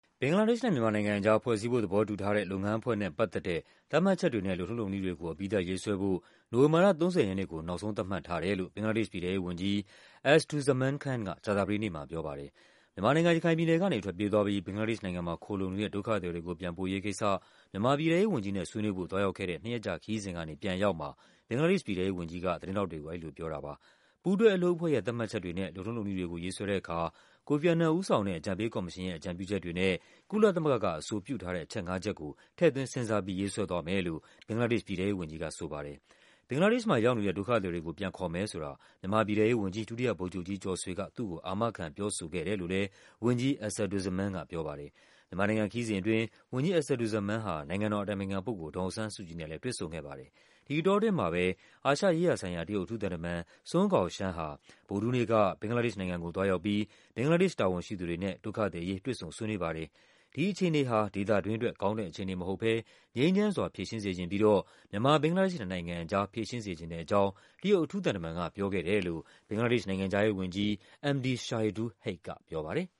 ဘင်္ဂလားဒေ့ရှ်နဲ့ မြန်မာနိုင်ငံအကြား ဖွဲ့စည်းဖို့သဘောတူထားတဲ့ လုပ်ငန်းအဖွဲ့နဲ့ပတ်သက်တဲ့ သတ်မှတ်ချက်တွေနဲ့ လုပ်ထုံးလုပ် နည်းတွေကို အပြီးသတ်ရေးဆွဲဖို့ နိုဝင်ဘာလ ၃၀ ရက်နေ့ကို နောက်ဆုံးသတ်မှတ်ထားတယ်လို့ ဘင်္ဂလားဒေ့ရှ်ပြည်ထဲရေးဝန်ကြီး Asaduzzaman Khan က ကြာသပတေးနေ့မှာပြောပါတယ်။ မြန်မာနိုင်ငံ၊ ရခိုင်ပြည်နယ်ကနေ ထွက်ပြေးသွားပြီး ဘင်္ဂလားဒေ့ရှ်နိုင်ငံမှာခိုလှုံနေတဲ့ ဒုက္ခသည်တွေကို ပြန်ပို့ရေးကိစ္စ မြန်မာ ပြည်ထဲရေးဝန်ကြီးနဲ့ ဆွေးနွေးဖို့ သွားရောက်ခဲ့တဲ့ နှစ်ရက်ကြာခရီးစဉ်ကနေ ပြန်အရောက်မှာ ဘင်္ဂလားဒေ့ရှ်ပြည်ထဲရေးဝန်ကြီးက သတင်းထောက်တွေကို အဲဒီလိုပြောတာပါ။ ပူးတွဲအလုပ်အဖွဲ့ရဲ့ သတ်မှတ်ချက်တွေနဲ့ လုပ်ထုံးလုပ်နည်းတွေကို ရေးဆွဲတဲ့အခါ ကိုဖီ အာနန်ဦးဆောင်တဲ့ အကြံပေးကော်မရှင် ရဲ့ အကြံပြုချက်တွေနဲ့ ကုလသမဂ္ဂကအဆိုပြုထားတဲ့ အချက်ငါးချက်ကို ထည့်သွင်းစဉ်းစားပြီး ရေးဆွဲသွားမယ်လို့ ဘင်္ဂလား ဒေ့ရှ်ပြည်ထဲရေးဝန်ကြီး ဆိုပါတယ်။ ဘင်္ဂလားဒေ့ရှ်မှာရောက်နေတဲ့ ဒုက္ခသည်တွေကို ပြန်ခေါ်မယ်ဆိုတာ မြန်မာပြည်ထဲရေးဝန်ကြီး ဒုတိယဗိုလ်ချုပ်ကြီးကျော်ဆွေက သူ့ကို အာမခံပြောဆိုခဲ့တယ်လို့လဲ ဝန်ကြီး Asaduzzaman ကပြောပါတယ်။ မြန်မာနိုင်ငံခရီးစဉ်အတွင်း ဝန်ကြီး Asaduzzaman ဟာ နိုင်ငံတော်အတိုင်ပင်ခံပုဂ္ဂိုလ် ဒေါ်အောင်ဆန်းစုကြည်နဲ့လဲ တွေ့ဆုံခဲ့ပါတယ်။ ဒီအတောအတွင်းမှာပဲ အာရှရေးရာဆိုင်ရာ တရုတ်အထူးသံတမန် Sun Guoxiang ဟာ ဗုဒ္ဓဟူးနေ့က ဘင်္ဂလားဒေ့ရှ်နိုင်ငံကို သွား ရောက်ပြီး ဘင်္ဂလားဒေ့ရှ်တာဝန်ရှိသူတွေနဲ့ ဒုက္ခသည်အရေး တွေ့ဆုံဆွေးနွေးခဲ့ပါတယ်။ ဒီအခြေအနေဟာ ဒေသတွင်းအတွက် ကောင်းတဲ့အခြေအနေမဟုတ်ဘဲ ငြိမ်းချမ်းစွာဖြေရှင်းစေချင်ပြီးတော့ မြန်မာ-ဘင်္ဂလားဒေ့ရှ်နှစ်နိုင်ငံအကြား ဖြေရှင်းစေချင်တဲ့ အကြောင်း တရုတ်အထူးသံတမန်က ပြောခဲ့တယ်လို့ ဘင်္ဂလားဒေ့ရှ်နိုင်ငံခြားရေးဝန်ကြီး Md Shahidul Haque ကပြောပါတယ်။